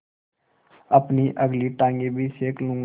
अपनी अगली टाँगें भी सेक लूँगा